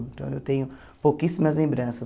Então eu tenho pouquíssimas lembranças.